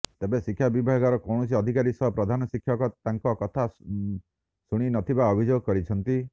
ତେବେ ଶିକ୍ଷା ବିଭାଗର କୌଣସି ଅଧିକାରୀ ସହ ପ୍ରଧାନଶିକ୍ଷକ ତାଙ୍କ କଥା ଶୁଣି ନଥିବା ଅଭିଯୋଗ କରିଛନ୍ତି